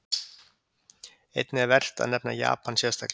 Einnig er vert að nefna Japan sérstaklega.